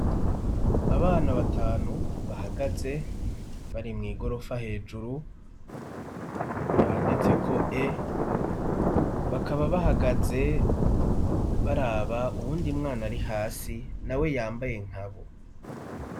abana batanu bahagaze bari mw'igorofa hejuru handitseko e bakaba bahagaze baraba uwundi mwana ari hasi na we yambaye nkabo